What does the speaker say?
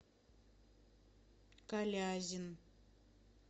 калязин